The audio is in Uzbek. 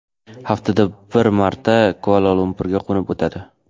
Haftada bir marta Kuala-Lumpurga qo‘nib o‘tadi.